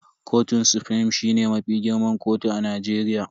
Kotun sufrim shine mafi girman kotu a Najeriya.